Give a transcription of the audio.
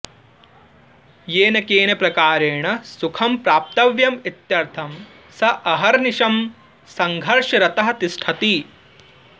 येन केन प्रकारेण सुखं प्राप्तव्यम् इत्यर्थं स अहर्निशं संघर्षरतः तिष्ठति